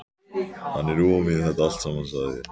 Hann er ofan við þetta allt saman, sagði ég.